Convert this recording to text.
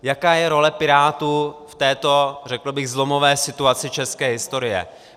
Jaká je role Pirátů v této řekl bych zlomové situaci české historie?